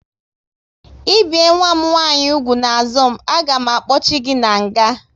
I bie nwa m nwaanyị úgwù n'azụ m, a ga m akpochi gị n'nga!